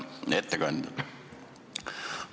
Hea ettekandja!